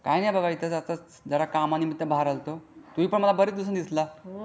काही नाही जरा काम निम्मित बाहेर आलो होतो. तुम्ही पण मला बरेच दिवसाने दिसला.